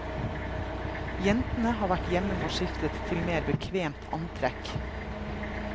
Jentene har vært hjemom og skiftet til mer bekvemt antrekk.